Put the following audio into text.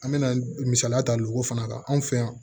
An me na misaliya ta luw fana ka anw fɛ yan